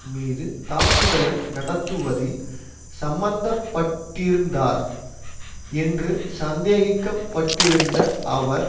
மீது தாக்குதலை நடத்துவதில் சம்மந்தப்பட்டிருந்தார் என்று சந்தேகிக்கப்பட்டிருந்த அவர்